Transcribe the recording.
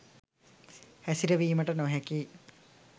හැසිරවීමට නොහැකියි